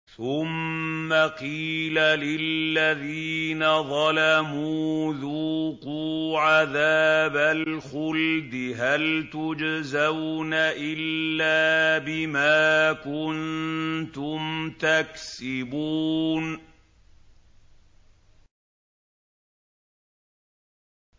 ثُمَّ قِيلَ لِلَّذِينَ ظَلَمُوا ذُوقُوا عَذَابَ الْخُلْدِ هَلْ تُجْزَوْنَ إِلَّا بِمَا كُنتُمْ تَكْسِبُونَ